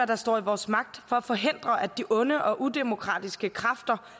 der står i vores magt for at forhindre at de onde og udemokratiske kræfter